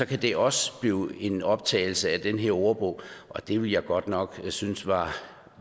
kan det også blive en optagelse i den her ordbog det ville jeg godt nok synes var